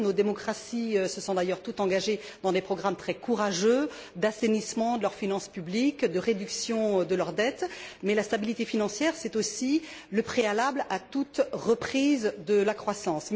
Nos démocraties se sont d'ailleurs toutes engagées dans des programmes très courageux d'assainissement de leurs finances publiques, de réduction de leur dette, et la stabilité financière est aussi le préalable à toute reprise de la croissance.